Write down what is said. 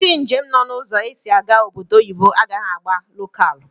Ndi njem nọ na ụzọ esi aga obodo oyibo agaghi agba lokalu